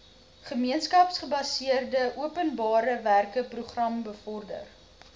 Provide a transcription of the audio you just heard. gemeenskapsgebaseerde openbarewerkeprogram bevorder